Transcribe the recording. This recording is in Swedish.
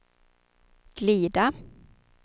glida